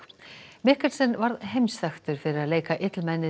Mikkelsen varð heimsþekktur fyrir að leika illmennið